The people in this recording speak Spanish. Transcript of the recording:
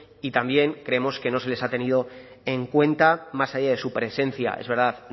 y también creemos que no se les ha tenido en cuenta más allá de su presencia es verdad